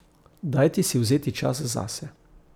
Dajte si vzeti čas zase.